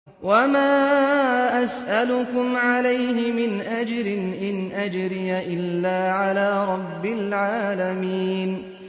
وَمَا أَسْأَلُكُمْ عَلَيْهِ مِنْ أَجْرٍ ۖ إِنْ أَجْرِيَ إِلَّا عَلَىٰ رَبِّ الْعَالَمِينَ